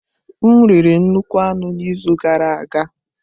M riri nnukwu anụ n'izu gara aga.